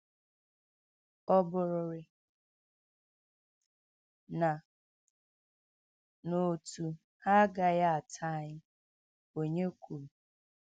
“Ọ́ bụ̀rị̀rị̀ na n’òtù ha agaghị atà anyị,” onye kwuru.